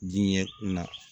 Diɲɛ na